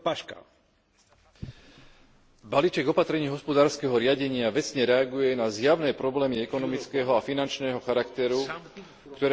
Balíček opatrení hospodárskeho riadenia vecne reaguje na zjavné problémy ekonomického a finančného charakteru, ktoré už dlhší čas dusia Európsku úniu.